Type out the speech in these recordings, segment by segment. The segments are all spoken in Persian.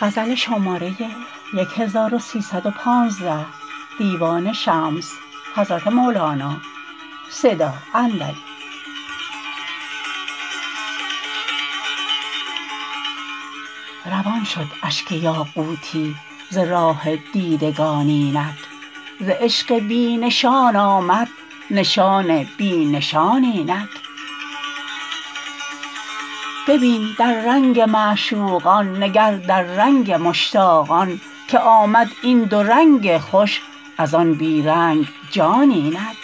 روان شد اشک یاقوتی ز راه دیدگان اینک ز عشق بی نشان آمد نشان بی نشان اینک ببین در رنگ معشوقان نگر در رنگ مشتاقان که آمد این دو رنگ خوش از آن بی رنگ جان اینک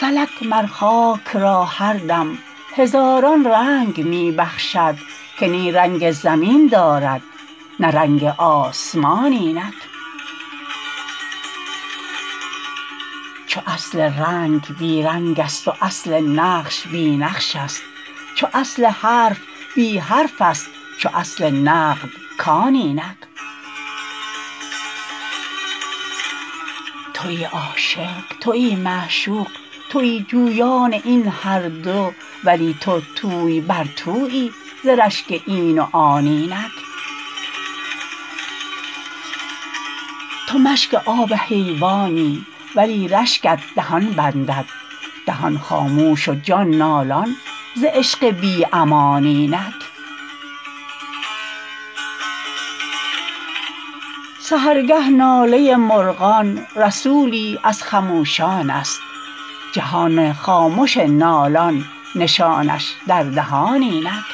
فلک مر خاک را هر دم هزاران رنگ می بخشد که نی رنگ زمین دارد نه رنگ آسمان اینک چو اصل رنگ بی رنگست و اصل نقش بی نقشست چو اصل حرف بی حرفست چو اصل نقد کان اینک توی عاشق توی معشوق توی جویان این هر دو ولی تو توی بر تویی ز رشک این و آن اینک تو مشک آب حیوانی ولی رشکت دهان بندد دهان خاموش و جان نالان ز عشق بی امان اینک سحرگه ناله مرغان رسولی از خموشانست جهان خامش نالان نشانش در دهان اینک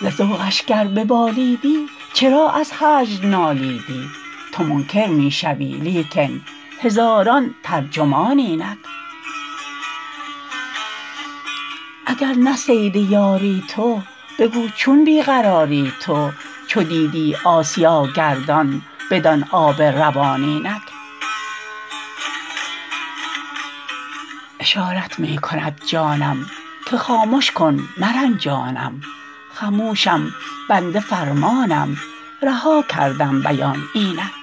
ز ذوقش گر ببالیدی چرا از هجر نالیدی تو منکر می شوی لیکن هزاران ترجمان اینک اگر نه صید یاری تو بگو چون بی قراری تو چو دیدی آسیا گردان بدان آب روان اینک اشارت می کند جانم که خامش که مرنجانم خموشم بنده فرمانم رها کردم بیان اینک